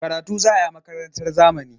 Karatu za a yi a makarantar zamani.